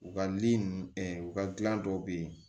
U ka ninnu u ka gilan dɔw bɛ ye